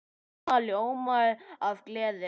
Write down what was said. Mamma ljómaði af gleði.